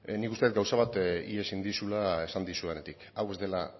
nik uste dut gauza bat ihes egin dizula esan dizudanetik hau ez dela